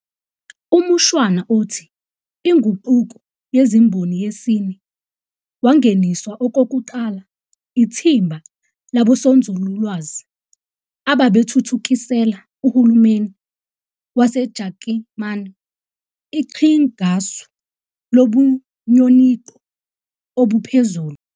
Umushwana othi iNguquko yeziMboni yesine wangeniswa okokuqala ithimba labosonzululwazi ababethuthukisela uhulumeni waseJakimani iqhingasu lobunyonico obuphezulu.